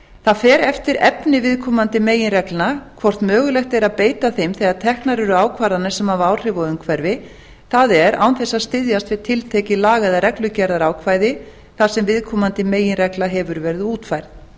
það fer eftir efni viðkomandi meginreglna hvort mögulegt er að beita þeim þegar teknar eru ákvarðanir sem hafa áhrif á umhverfi það er án þess að styðjast við tiltekið laga eða reglugerðarákvæði þar sem viðkomandi meginregla hefur verið útfærð